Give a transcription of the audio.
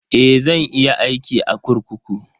Eh, zan iya aiki a kurkuku.